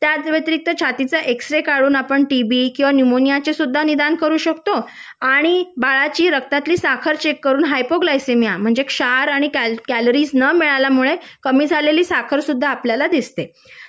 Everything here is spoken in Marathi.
त्या व्यतिरिक्त छातीचा एक्स-रे काढून आपण टीबी किंवा निमोनियाचे निदान करू शकतो आणि बाळाच्या रक्तातली साखर चेक करून म्हणजे हायपर ग्लासोमिया क्षार आणि कॅलरीज न मिळाल्यामुळे कमी झालेली साखर सुद्धा आपल्याला दिसते